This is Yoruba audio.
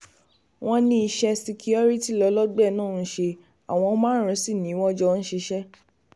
wọ́n ní iṣẹ́ síkíkọrítì lọ́lọ́ọ̀gbẹ́ náà ń ṣe àwọn márùn-ún sí ni wọ́n jọ ń ṣiṣẹ́